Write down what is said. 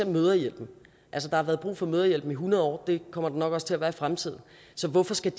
mødrehjælpen altså der har været brug for mødrehjælpen i hundrede år og det kommer der nok også til at være i fremtiden så hvorfor skal